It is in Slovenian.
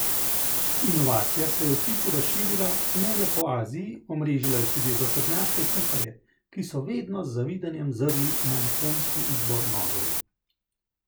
Inovacija se je v hipu razširila ne le po Aziji, omrežila je tudi zahodnjaške kuharje, ki so vedno z zavidanjem zrli na japonski izbor nožev.